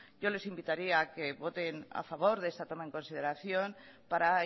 yo les invitaría a que voten a favor de esa toma en consideración para